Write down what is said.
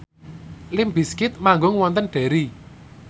limp bizkit manggung wonten Derry